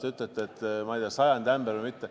Te ütlete, ma ei tea, sajandi ämber või mitte.